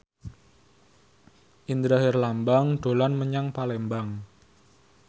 Indra Herlambang dolan menyang Palembang